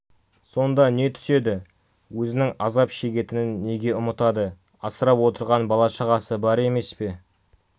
сонда не түседі өзінің азап шегетінін неге ұмытады асырап отырған бала-шағасы бар емес пе